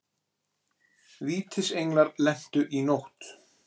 Vítisenglar lentu í nótt